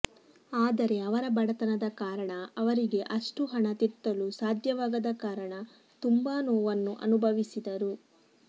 ಆದರೆ ಅವರ ಬಡತನದ ಕಾರಣ ಅವರಿಗೆ ಅಷ್ಟು ಹಣ ತೆತ್ತಲು ಸಾಧ್ಯ ವಾಗದ ಕಾರಣ ತುಂಬಾ ನೋವನ್ನು ಅನುಭವಿಸಿದರು